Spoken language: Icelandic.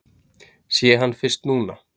Sé hann fyrst núna.